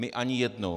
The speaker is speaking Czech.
My ani jednou.